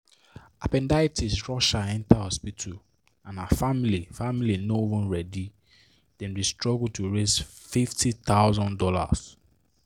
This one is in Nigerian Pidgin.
appendicitis rush her enter hospital and her family family no even ready dem dey struggle to raise fifty thousand dollars."